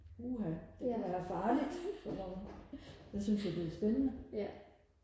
uha det kan være farligt for nogle jeg synes jo det er spændende